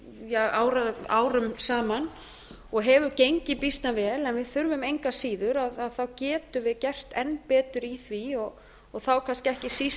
í gangi árum saman og hefur gengið býsna vel en við þurfum engu að síður getum við gert enn betur í því og þá kannski ekki síst